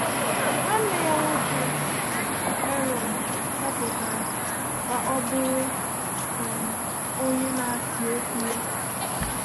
Nwanne ya nwoke Aaron họpụtara ka ọ bụrụ um onye na-asị okwu ya.